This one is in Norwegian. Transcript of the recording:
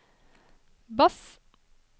bass